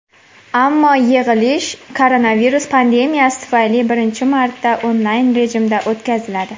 Ammo yig‘ilish koronavirus pandemiyasi tufayli birinchi marta onlayn rejimda o‘tkaziladi.